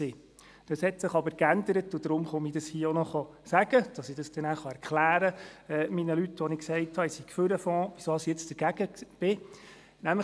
Dies hat sich aber geändert, und deswegen sage ich dies hier auch noch, damit ich nachher meinen Leuten, denen ich gesagt habe, ich sei für den Fonds, erklären kann, weshalb ich jetzt dagegen bin.